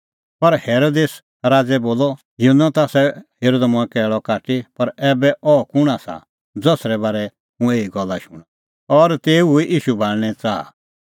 पर हेरोदेस राज़ै बोलअ युहन्नो ता आसा हेरअ द मंऐं कैल़अ काटी पर ऐबै अह कुंण आसा ज़सरै बारै हुंह एही गल्ला शूणां और तेऊए हुई ईशू भाल़णें च़ाहा